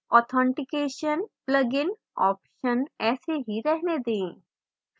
authentication plugin option ऐसे ही रहने दें